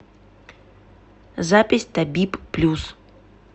запись табиб плюс